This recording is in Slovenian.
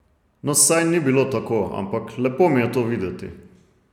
No saj ni bilo tako, ampak lepo mi je to videti.